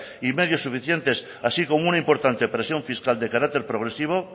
y medios suficientes así como una importante presión fiscal de carácter progresivo